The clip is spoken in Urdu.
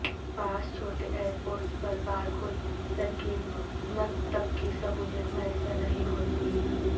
بعض چھوٹے ایئرپورٹس پر بارکوڈ سکیننگ تک کی سہولیت میسر نہیں ہوتی